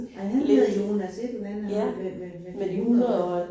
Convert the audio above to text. Ej han hedder Jonas et eller andet ham med med med de 100 år